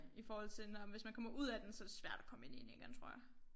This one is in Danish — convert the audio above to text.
I forhold til når hvis man kommer ud af den så det svært at komme ind i den igen tror jeg